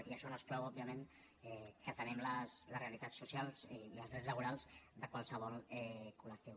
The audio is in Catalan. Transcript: i això no exclou òbviament que atenguem les realitats socials i els drets laborals de qualsevol col·lectiu